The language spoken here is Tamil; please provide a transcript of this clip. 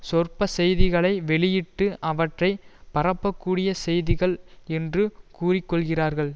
சொற்ப செய்திகளை வெளியிட்டு அவற்றை பரப்பக்கூடிய செய்திகள் என்று கூறிக்கொள்கிறார்கள்